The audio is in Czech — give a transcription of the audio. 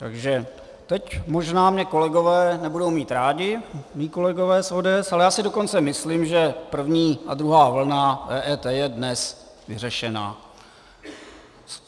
Takže teď možná mě kolegové nebudou mít rádi, mí kolegové z ODS, ale já si dokonce myslím, že první a druhá vlna EET je dnes vyřešena.